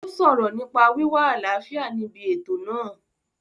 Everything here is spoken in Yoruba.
Ó sọ̀rọ̀ nípa wíwá àlàáfíà níbi ètò náà